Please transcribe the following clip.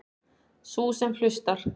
Sú sem hlustar.